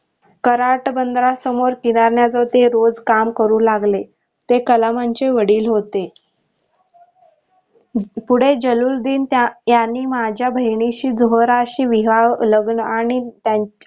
कराट बंधनासमोर किरण्याच ते रोज काम करू लागले ते कलामांचे वडील होते पुढे जल्लुलीद्धीन यांनी माझ्या बहीणीशी जोहराशी विवाह लग्न आणि त्यान